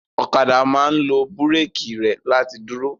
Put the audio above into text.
Ọ̀kadà máa ń lo búrékì rẹ̀ láti dúró.